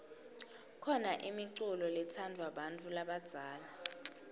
khona imiculo letsadvwa bantfu labadzala